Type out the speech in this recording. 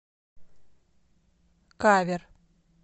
кавер